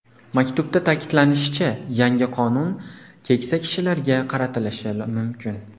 Maktubda ta’kidlanishicha, yangi qonun keksa kishilarga qaratilishi mumkin.